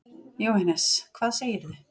Jóhannes: Hvað segirðu?